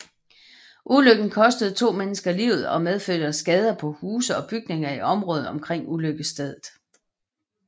Ulykken kostede to mennesker livet og medførte skader på huse og bygninger i området omkring ulykkesstedet